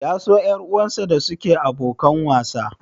Ya so ƴar uwarsa da suke abokan wasa?